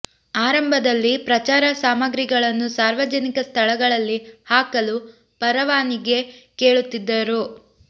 ಆರಂಭದಲ್ಲಿ ಪ್ರಚಾರ ಸಾಮಗ್ರಿ ಗಳನ್ನು ಸಾರ್ವಜನಿಕ ಸ್ಥಳಗಳಲ್ಲಿ ಹಾಕಲು ಪರವಾನಗಿ ಕೇಳುತ್ತಿದ್ದರು